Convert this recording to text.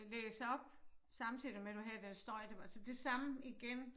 Øh læse op samtidig med du havde den støj det var så det samme igen